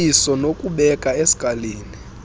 iliso nokubeka eskalini